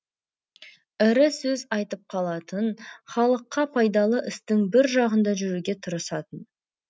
ірі сөз айтып қалатын халыққа пайдалы істің бір жағында жүруге тырысатын